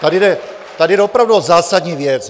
Tady jde opravdu o zásadní věc.